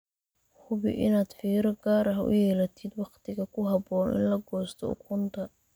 Hubi inaad fiiro gaar ah u yeelatid wakhtiga ku habboon in la goosto ukunta.